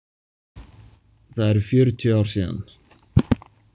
Það eru fjörutíu ár síðan.